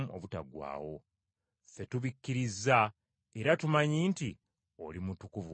Ffe tubikkiriza era tumanyi nti oli Mutukuvu wa Katonda.”